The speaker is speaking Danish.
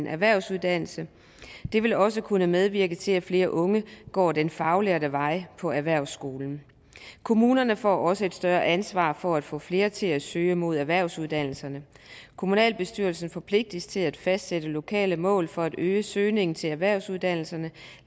erhvervsuddannelse det vil også kunne medvirke til at flere unge går den faglærte vej på erhvervsskolen kommunerne får også et større ansvar for at få flere til at søge mod erhvervsuddannelserne kommunalbestyrelsen forpligtes til at fastsætte lokale mål for at øge søgningen til erhvervsuddannelserne